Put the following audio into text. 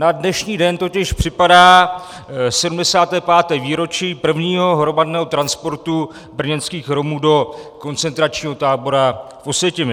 Na dnešní den totiž připadá 75. výročí prvního hromadného transportu brněnských Romů do koncentračního tábora v Osvětimi.